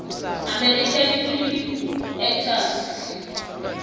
american film actors